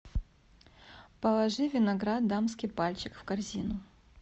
положи виноград дамский пальчик в корзину